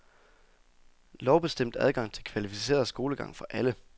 Lovbestemt adgang til kvalificeret skolegang for alle.